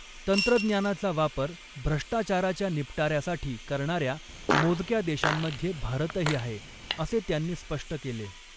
तंत्रज्ञानाचा वापर भ्रष्टाचाराच्या निपटाऱ्यासाठी करणाऱ्य़ा मोजक्या देशांमध्ये भारतही आहे असे त्यांनी स्पष्ट केले.